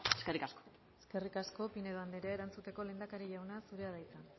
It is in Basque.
eskerrik asko eskerrik asko pinedo andrea erantzuteko lehendakari jauna zurea da hitza